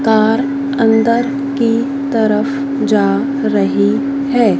Car अंदर की तरफ जा रही है।